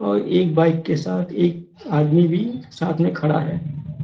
और एक बाइक के साथ एक आदमी भी साथ में खड़ा है।